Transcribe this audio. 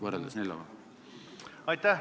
Aitäh!